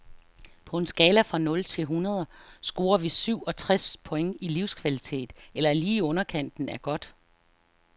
På en skala fra nul til et hundrede scorer vi syv og treds point i livskvalitet, eller lige i underkanten af godt.